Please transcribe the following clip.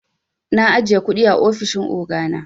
Na ajiye kundi a ofishin ogana.